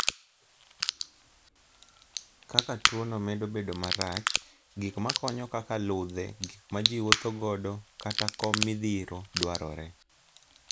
Kaka tuwono medo bedo marach, gik makonyo kaka ludhe, gik ma ji wuotho godo, kata kom midhiro dwarore.